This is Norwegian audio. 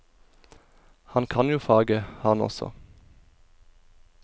Han kan jo faget, han også.